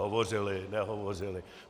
Hovořili, nehovořili.